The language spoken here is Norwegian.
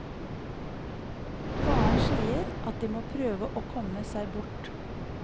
Faren sier at de må prøve å komme seg bort.